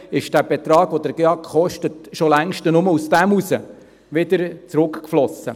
», ist der Betrag, den der GEAK kostet, schon längst daraus wieder zurückgeflossen.